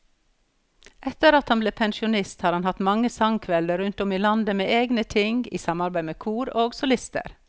Etter at han ble pensjonist har han hatt mange sangkvelder rundt om i landet med egne ting, i samarbeid med kor og solister.